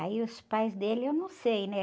Aí os pais dele eu não sei, né?